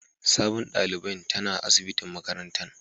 Sabobin dalibain tana asibitin makarantan.